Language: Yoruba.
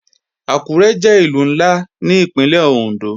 Àkúré jẹ́ Ìlú ńlá ní Ìpínlẹ̀ Òndó